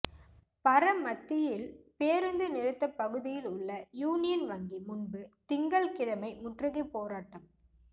பரமத்தியில் பேருந்து நிறுத்தப் பகுதியில் உள்ள யூனியன் வங்கி முன்பு திங்கள்கி ழமை முற்றுகைப் போராட்டம்